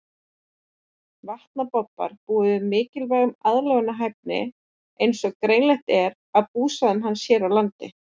Vatnabobbar búa yfir mikilli aðlögunarhæfni eins og greinilegt er af búsvæðum hans hér á landi.